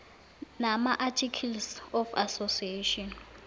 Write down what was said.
namaarticles of association